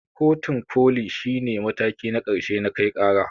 Kotun koli shi ne mataki na ƙarshe na kai ƙara.